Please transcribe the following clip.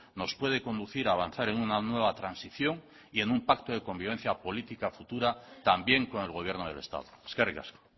nos puede conducir a avanzar en una nueva transición y en un pacto de convivencia política futura también con el gobierno del estado eskerrik asko